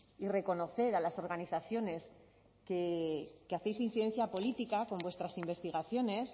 y reconocer a las organizaciones que hacéis incidencia política con vuestras investigaciones